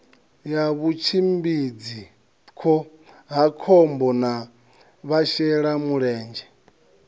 ya vhutshimbidzi khohakhombo na vhashelamulenzhe